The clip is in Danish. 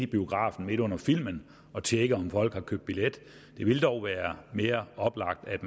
biografen midt under filmen og tjekke om folk nu havde købt billet det ville dog mere oplagt at